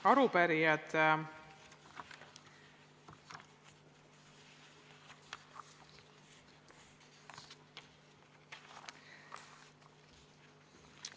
Head arupärijad!